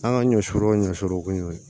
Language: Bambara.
An ka ɲɔ suru o ɲɔ solo ko y'o ye